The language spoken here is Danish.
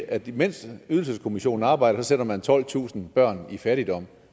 at imens ydelseskommissionen arbejder sætter man tolvtusind børn i fattigdom